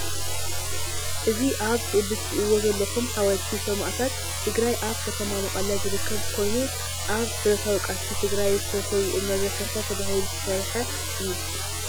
እዚ ኣብ ስእሊ ትርእዎ ዘለኩም ሓወልቲ ሰማእታት ትግራይ ኣብ ከተማ መቀለ ዝርከብ ኮይኑ፣ ኣብ ብረታዊ ቃልሲ ትግራይ ዝተሰውኡ መዘከርታ ተባሂሉ ዝተሰረሓ እዩ።